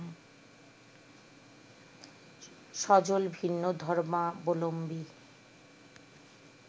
সজল ভিন্ন ধর্মাবলম্বী